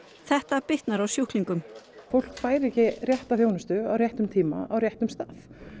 þetta bitnar á sjúklingum fólk fær ekki rétta þjónustu á réttum tíma á réttum stað